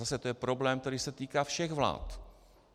Zase to je problém, který se týká všech vlád.